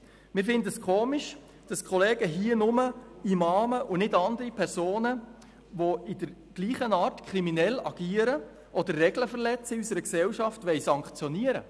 Wir finden es merkwürdig, dass die Kollegen hier nur Imame sanktionieren wollen und nicht auch andere Personen, die in der gleichen Art kriminell agieren oder Regeln unserer Gesellschaft verletzen.